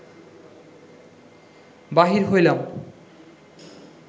বাহির হইলাম